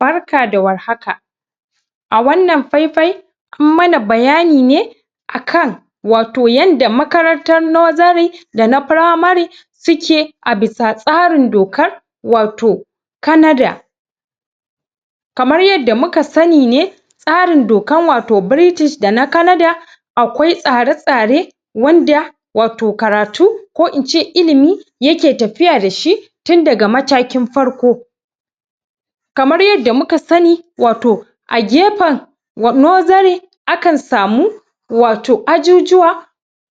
barka da warhaka a wannan faifaye an mana bayanine akan wato yanda makarantar nursery dana primary suke abisa tsarin doka wato kanada kamar yadda muka sanine tsarin dokar wato british dana kanada akwai tsare tsare wanda wato karatu ko ince ilimi yake tafiya dashi tun daga matakin farko kamar yanda muka sani wato a gefan nursery akan samu wato ajujjuwa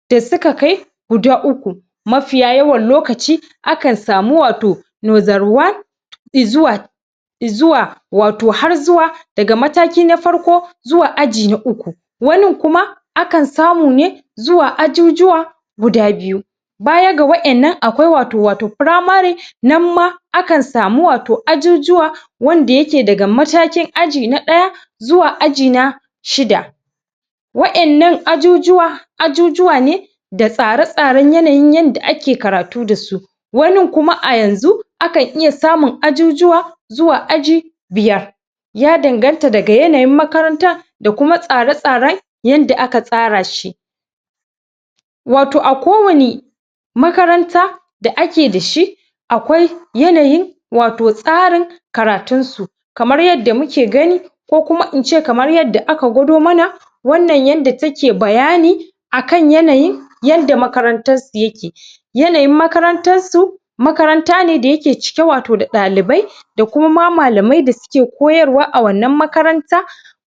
da suka kai guda uku mafiya yawan lokaci akan samu waato nursery one izzuwa izzuwa wato har zuwa daga mataki na farko zuwa aji na uku wanin kuma akan samu ne zuwa ajijuwa guda biyu bayan ga wayannan akwai wato wato primary nan ma akan samu wato ajijuwa wanda yake daga matakin aji na daya zuwaa aji na shida wayannan ajijuwa ajijuwa ne da tsare tsare yanayi yanda ake karatu dasu wanin kuma ayanzu akan iya samun ajijuwa zuwa aji biyar ya danganta daga yanayin makaranta dakuma tsare tsare yanda aka tsara shi wato akowani makaranta da ake dashi akwai yanayi wato tsarin karatun su kamar yanda muke gani kokuma ince kamar yanda aka gwado mana wannan yanda take bayani akan yanayi yanda makarantarsu yake yanayin makarantarsu makarantane dayake cike wato ɗa dalibai da kuma ma malamai da suke koyarwa a wanan makaranta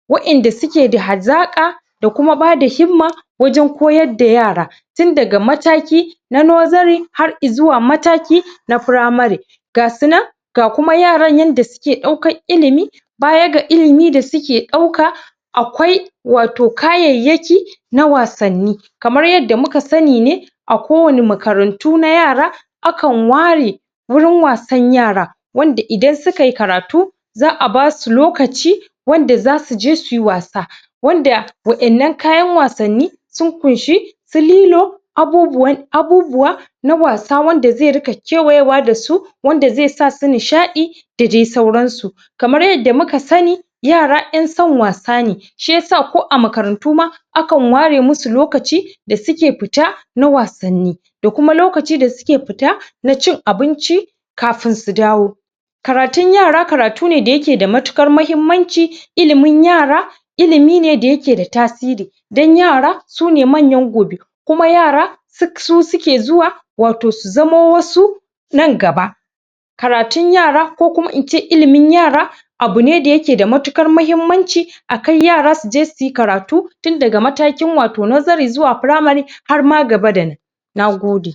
waiyanda sukeda hazaka da kuma bada himma wajan koyarda yara tun daga mataki na nursery har izuwa mataki na primary gasu nan ga kuma yaran yanda suke daukan ilimi bayanga ilimi dasuke dauka akwai wato kayayyaki na wasanni kamar yadda muka sani ne akowani makarantu na yara akan ware wurin wasan yara wanda idan sukayi karatu za'a basu lokaci wanda zasuje suyi wasa wanda waiyannan kayan wasanni sun kunshi su lilo abubuwan abubuwa na wasa wanda ze ringa kewayewa dasu wanda ze sasu nishaɗi dadai saauransu kamar yanda muka sani yara yanson wasane shiyasa ko a makarantu ma akan ware musu lokaci dasuke fita na wasanni da kuma lokaci da suke fita na cin abinci kafin su dawo karatun yara karatune dayake da matukar mahimmanci ilimin yara ilimine dayakeda tasiri dan yara sune manyan gobe kuma yara suk su suke zuwa wato su zamo wasu nan gaba karatun yara ko ince ilimin yara abune dayakeda matukar mahimmanci a kai yara suje suyi karatu tun daga matakin wato daga nursery zuwa primary harma gaba da nan nagode